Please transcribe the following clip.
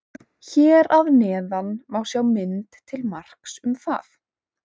Hér að neðan má sjá mynd til marks um það.